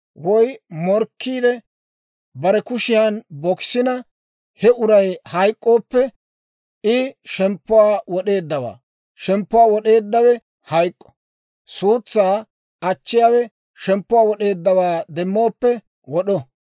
woy morkkiide bare kushiyan bokisina, he uray hayk'k'ooppe, I shemppuwaa wod'eeddawaa; shemppuwaa wod'eeddawe hayk'k'o. Suutsaa achchiyaawe shemppuwaa wod'eeddawaa demmooppe wod'o.